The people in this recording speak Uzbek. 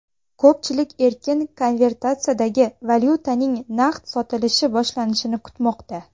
Ko‘pchilik erkin konvertatsiyadagi valyutaning naqd sotilishi boshlanishini kutmoqda.